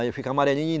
Aí fica amarelinho.